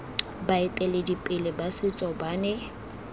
baeteledipele ba setso ba ne